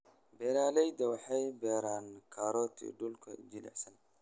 Beeraleydu waxay beeraan karoti dhulka jilicsan.